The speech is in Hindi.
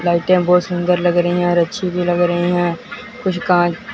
लाइट्या बहोत सुंदर लग रहीं हैं और अच्छी भीं लग रहीं हैं कुछ कां--